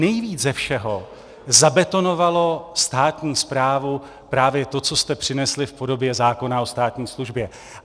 Nejvíc ze všeho zabetonovalo státní správu právě to, co jste přinesli v podobě zákona o státní službě.